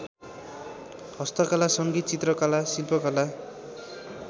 हस्तकला सङ्गीत चित्रकला शिल्पकला